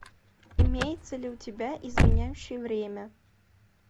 имеется ли у тебя изменяющий время